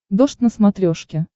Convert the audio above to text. дождь на смотрешке